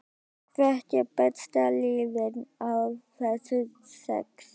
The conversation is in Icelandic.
Hvert er besta liðið af þessum sex?